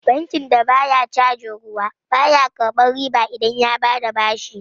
Bankin da baya cajin ruwa, ba ya karɓar riba idan ya bada bashi.